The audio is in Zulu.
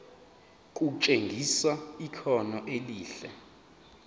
kutshengisa ikhono elihle